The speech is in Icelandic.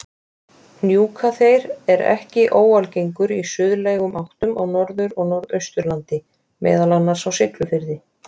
Hnjúkaþeyr er ekki óalgengur í suðlægum áttum á Norður- og Norðausturlandi, meðal annars á Siglufirði.